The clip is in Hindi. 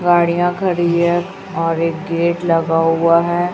गाड़ियां खड़ी है और एक गेट लगा हुआ है।